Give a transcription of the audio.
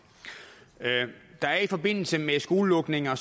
der er i forbindelse med skolelukninger